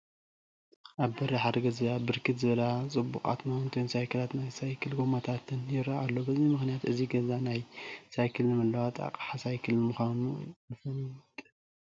ኣብ በሪ ሓደ ገዛ ብርክት ዝበላ ፅቡቓት ማውንተይን ሳይክላትን ናይ ሳይክል ጐማታትን ይርአ ኣሎ፡፡ በዚ ምኽንያት እዚ ገዛ ናይ ሳይክልን መለዋወጢ ኣቕሓ ሳይክልን ምዃኑ ንፈልጥ፡፡